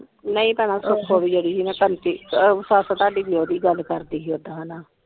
ਨਹੀ ਤਾਂ ਨਾਹ ਸਹੀ ਪੈਣਾ ਉਹ ਸੀ ਨਾ ਜਿਹੜੀ ਕੰਤਿ ਸੱਸ ਵੀ ਆਦਿ ਗੱਲ ਕਰਦੀ ਸੀ ਓਦਾ ਹਨਾ।